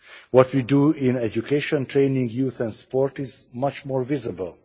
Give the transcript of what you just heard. What we do in education, training, youth and sport is much more visible.